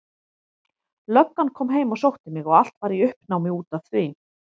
Löggan kom heim og sótti mig og allt var í uppnámi út af því.